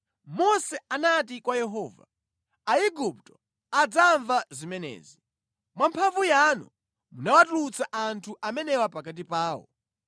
Mose anati kwa Yehova, “Aigupto adzamva zimenezi! Mwa mphamvu yanu munawatulutsa anthu amenewa pakati pawo.